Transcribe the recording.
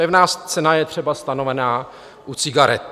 Pevná cena je třeba stanovená u cigaret.